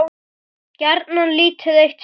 Gjarnan lítið eitt súr.